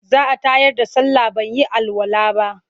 Za a tayar da sallah ban yi alwala ba.